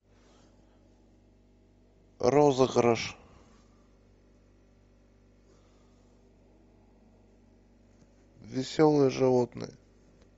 розыгрыш веселые животные